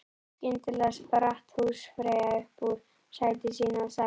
Skyndilega spratt húsfreyja upp úr sæti sínu og sagði